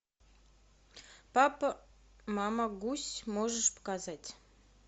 папа мама гусь можешь показать